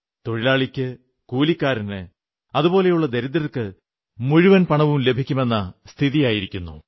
തൊഴിലാളിക്ക് കൂലിക്കാരന് അതുപോലുള്ള ദരിദ്രർക്ക് മുഴുവൻ പണവും ലഭിക്കുമെന്ന സ്ഥിതിയായിരിക്കുന്നു